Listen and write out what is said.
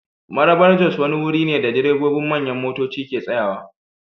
Marabar-Jos wani wuri ne da direbobin manyan motoci ke tsayawa.